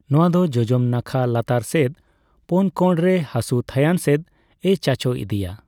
ᱱᱚᱣᱟ ᱫᱚ ᱡᱚᱡᱚᱢ ᱱᱟᱠᱷᱟ ᱞᱟᱛᱟᱨ ᱥᱮᱫ ᱯᱳᱱ ᱠᱚᱬᱨᱮ ᱦᱟᱥᱩ ᱛᱷᱟᱹᱭᱟᱱ ᱥᱮᱫᱼᱮ ᱪᱟᱪᱳ ᱤᱫᱤᱭᱟ ᱾